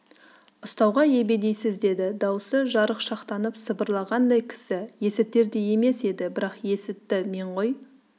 ұстауға ебедейсіз деді дауысы жарықшақтанып сыбырлағандай кісі есітердей емес еді бірақ есітті мен ғой